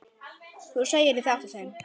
Þú þegir í þetta sinn!